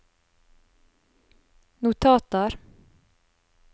notater